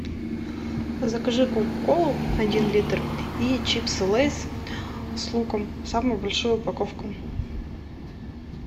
закажи кока колу один литр и чипсы лейс с луком самую большую упаковку